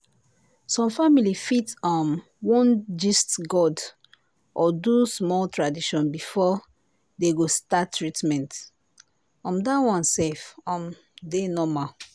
some family fit um wan gist god or do small tradition before dey go start treatment - um that one self um dey normal.